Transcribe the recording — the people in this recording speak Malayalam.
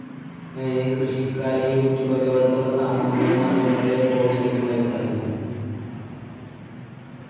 അഹ് കൃഷിക്കാര്, youtube അതേപോല്‍ത്തുള്ള സാമൂഹ്യ മാധ്യമങ്ങളിലേക്ക് പോകുന്നതിനെ കുറിച്ചുള്ള അഭിപ്രായമെന്താണ്?